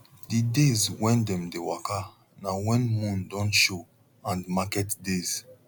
d days when dem dey waka na when moon don show and market days